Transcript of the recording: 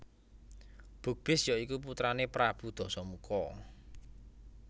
Bukbis ya iku putrané Prabu Dasamuka